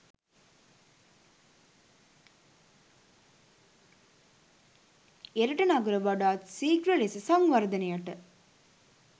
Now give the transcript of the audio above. එරට නගර වඩාත් සීඝ්‍ර ලෙස සංවර්ධනයට